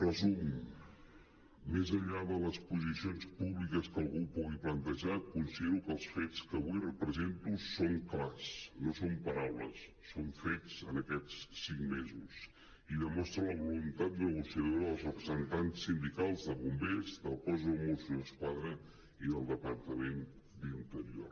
en resum més enllà de les posicions públiques que algú pugui plantejar conside·ro que els fets que avui represento són clars no són paraules són fets en aquests cinc mesos i demostren la voluntat negociadora dels representants sindicals de bombers del cos de mossos d’esquadra i del departament d’interior